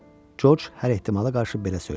Corc hər ehtimala qarşı belə söylədi.